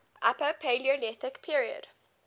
upper paleolithic period